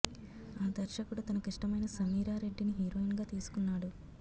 ఆ దర్శకుడు తనకిష్టమైన సమీరా రెడ్డిని హీరోయిన్ గా తీసుకున్నాడు